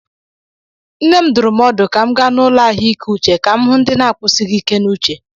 Nne m dụrụ m ọdụ ka m gaa n'ụlọ ahụike uche ka m hụ ndị na-akwụsighị ike n'uche.